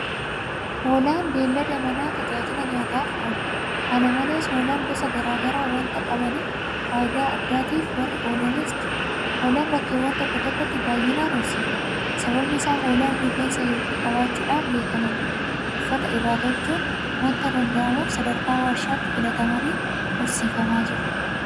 Hoolaan beellada manaa tajaajila nyaataatiif ooludha. Kana malees hoolaan gosa garaa garaa waanta qabaniif faayidaa addaatiif warri oolanis jiru. Hoolaan bakkeewwan tokko tokkotti baay'inaan horsiifamu. Sababni isaas Hoolaan rifeensa hedduu qabaachuudhaan beekaman Uffata irraa tolchuun waanta danda'amuuf sadarkaa warshaatti filatamanii horsiifamaa jiru.